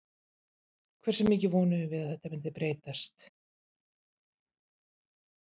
Hversu mikið vonuðum við að þetta myndi breytast?